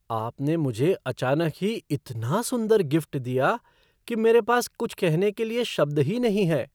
आपने मुझे अचानक ही इतना सुंदर गिफ़्ट दिया कि मेरे पास कुछ कहने के लिए शब्द ही नहीं हैं।